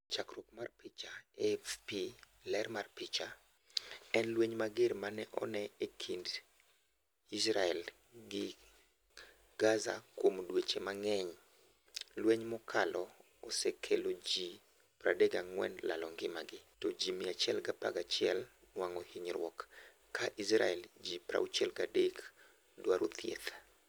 Chakruok mar picha, AFP, ler mar picha, en lweny mager mane one ekind Israel gi Gazakuom dweche mang'eny. lweny makano ose kelo ji 34 lalo ngimagi to ji 111 nwang'o hinyruok , ka Israel ji 63 dwaro thieth.